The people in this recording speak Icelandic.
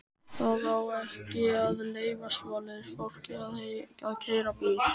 Það á ekki að leyfa svoleiðis fólki að keyra bíl!